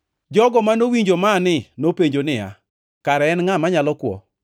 Jogo manowinjo mani nopenjo niya, “Kare en ngʼa manyalo kwo?”